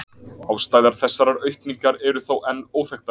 Ástæður þessarar aukningar eru þó enn óþekktar.